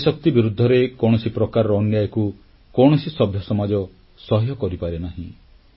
ଦେଶର ନାରୀଶକ୍ତି ବିରୁଦ୍ଧରେ କୌଣସି ପ୍ରକାରର ଅନ୍ୟାୟକୁ କୌଣସି ସଭ୍ୟସମାଜ ସହ୍ୟ କରିପାରେ ନାହିଁ